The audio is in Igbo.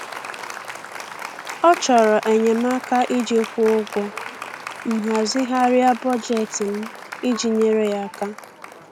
Ọ chọrọ enyemaka iji kwụọ ụgwọ, m hazigharịa bọjetị m iji nyere ya aka.